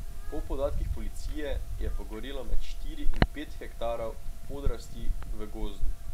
Po podatkih policije je pogorelo med štiri in pet hektarov podrasti v gozdu.